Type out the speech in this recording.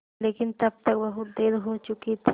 लेकिन तब तक बहुत देर हो चुकी थी